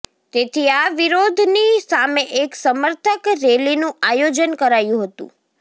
તેથી આ વિરોધની સામે એક સમર્થક રેલીનું આયોજન કરાયું હતું